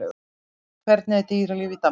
Hvernig er dýralíf í Danmörku?